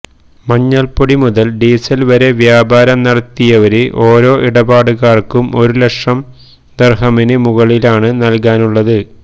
മഞ്ഞള് പൊടി മുതല് ഡീസല് വരെ വ്യാപാരം നടത്തിയവര് ഓരോ ഇടപാടുകാര്ക്കും ഒരു ലക്ഷം ദിര്ഹമിന് മുകളിലാണ് നല്കാനുള്ളത്